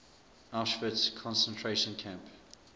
auschwitz concentration camp